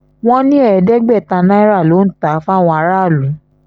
wọ́n ní ẹ̀ẹ́dẹ́gbẹ̀ta náírà ló ń tà á fáwọn aráàlú